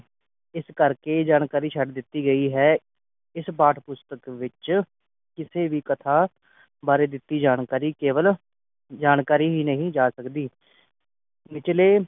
ਇਸ ਕਰਕੇ ਜਾਣਕਾਰੀ ਛੱਡ ਦਿਤੀ ਗਈ ਹੈ ਇਸ ਪਾਠ ਪੁਸਤਕ ਵਿਚ ਕਿਸੇ ਵੀ ਕਥਾ ਬਾਰੇ ਦਿਤੀ ਜਾਣਕਾਰੀ ਕੇਵਲ ਜਾਣਕਾਰੀ ਹੀ ਨਹੀਂ ਜਾ ਸਕਦੀ ਨਿਚਲੇ